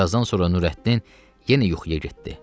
Bir azdan sonra Nurəddin yenə yuxuya getdi.